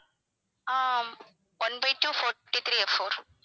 ah one by two forty three F four